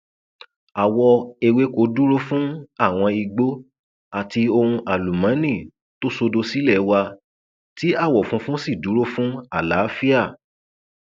àwọ ewéko dúró fún àwọn igbó àti ohun àlùmọọnì tó sódò sílé wa tí àwọ funfun sì dúró fún àlàáfíà